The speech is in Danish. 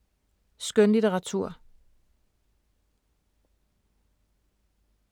Skønlitteratur